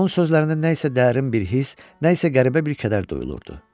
Onun sözlərindən nə isə dərin bir hiss, nə isə qəribə bir kədər duyulurdu.